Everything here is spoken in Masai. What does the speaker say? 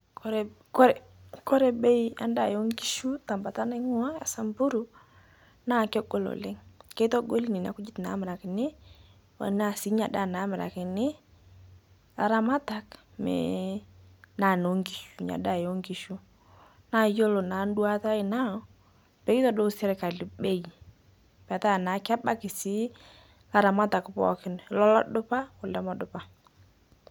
Kore kore kore bei endaa eonkishu ntabata naing'ua esamburu, naa kegol oleng' keitogoli nena nkujit namirakini, tanaa sii inia ndaa naamirakini laramatak mee naa noonkishu inia daa eonkishu. Naa yuolo naa nduata aai naa peetodou sirkali bei petaa naa kebaki sii laramatak pooki lo lodupa o lemedupa.